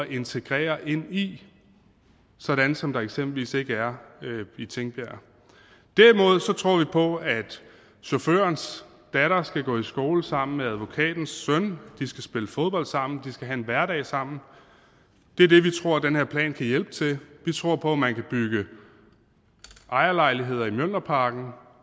integrere ind i sådan som der eksempelvis ikke er i tingbjerg derimod tror vi på at chaufførens datter skal gå i skole sammen med advokatens søn de skal spille fodbold sammen de skal have en hverdag sammen og det er det vi tror den her plan kan hjælpe til vi tror på at man kan bygge ejerlejligheder i mjølnerparken